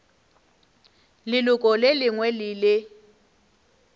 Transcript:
leloko le lengwe le le